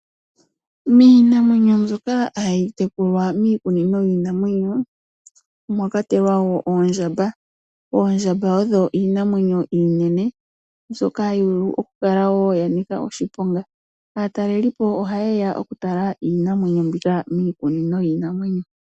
Miinamwenyo mbyoka hayi tekulwa miikunino yiinamwenyo, omwakwatelwa wo oondjamba. Oondjamba odho iinamwenyo iinene, mbyoka hayivulu okukala wo yanika oshiponga. Aatalelipo ohayeya okutala iinamwenyo mbika miikunino yiinamwenyo.